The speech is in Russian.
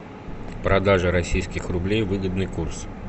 продажа российских рублей выгодный курс